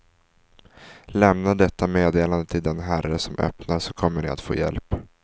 Lämna detta meddelande till den herre som öppnar, så kommer ni att få hjälp.